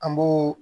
An b'o